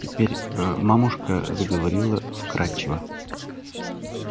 теперь мамушка заговорила вкрадчиво